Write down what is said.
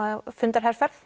fundaherferð